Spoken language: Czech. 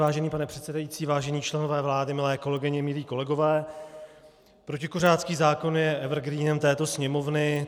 Vážený pane předsedající, vážení členové vlády, milé kolegyně, milí kolegové, protikuřácký zákon je evergreenem této Sněmovny.